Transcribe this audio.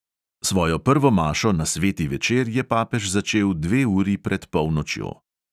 Svojo prvo mašo na sveti večer je papež začel dve uri pred polnočjo.